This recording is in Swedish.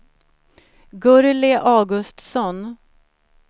Gurli Augustsson